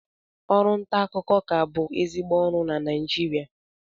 Ọrụ nta akụkọ ka bụ ezigbo ọrụ na Naịjirịa